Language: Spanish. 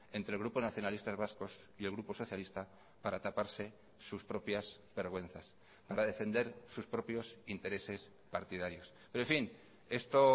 entre el grupo nacionalistas vascos y el grupo socialista para taparse sus propias vergüenzas para defender sus propios intereses partidarios pero en fin esto